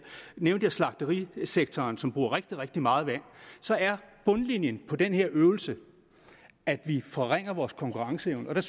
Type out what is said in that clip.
nævnte eksempelvis slagterisektoren som bruger rigtig rigtig meget vand så er bundlinjen på den her øvelse at vi forringer vores konkurrenceevne